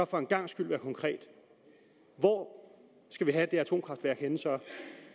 for en gangs skyld være konkret hvor skal vi have det atomkraftværk